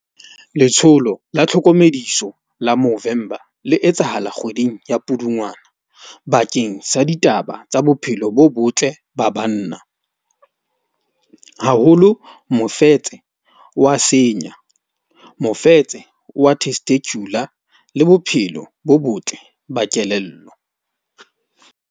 Letsholo la Tlhokomediso la Movember le etsahala kgweding ya Pudungwana. Bakeng sa ditaba tsa bophelo bo botle ba banna. Haholo mofetse wa senya, mofetse wa testicular le bophelo bo botle ba kelello.